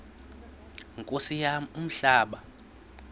nkosi yam umhlaba